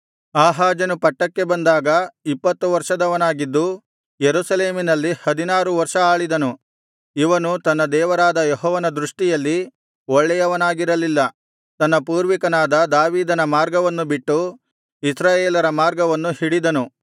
ಆಹಾಜನು ಪಟ್ಟಕ್ಕೆ ಬಂದಾಗ ಇಪ್ಪತ್ತು ವರ್ಷದವನಾಗಿದ್ದು ಯೆರೂಸಲೇಮಿನಲ್ಲಿ ಹದಿನಾರು ವರ್ಷ ಆಳಿದನು ಇವನು ತನ್ನ ದೇವರಾದ ಯೆಹೋವನ ದೃಷ್ಟಿಯಲ್ಲಿ ಒಳ್ಳೆಯವನಾಗಿರಲಿಲ್ಲ ತನ್ನ ಪೂರ್ವಿಕನಾದ ದಾವೀದನ ಮಾರ್ಗವನ್ನು ಬಿಟ್ಟು ಇಸ್ರಾಯೇಲರ ಮಾರ್ಗವನ್ನು ಹಿಡಿದನು